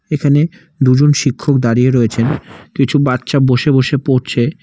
এখানে দুজন শিক্ষক দাঁড়িয়ে রয়েছেন কিছু বাচ্চা বসে বসে পড়ছে।